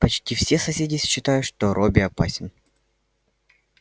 почти все соседи считают что робби опасен